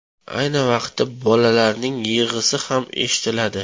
Ayni vaqtda, bolalarning yig‘isi ham eshitiladi.